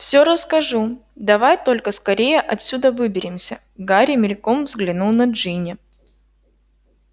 всё расскажу давай только скорее отсюда выберемся гарри мельком взглянул на джинни